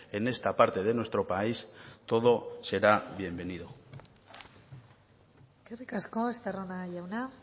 en esta parte de nuestro país todo será bienvenido eskerrik asko estarrona jauna